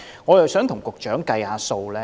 我想跟局長計算一下。